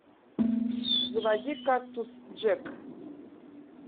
заводи кактус джек